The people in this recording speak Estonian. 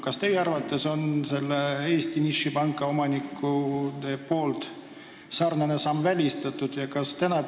Kas teie arvates on selle Eesti nišipanga omanike sarnane samm välistatud?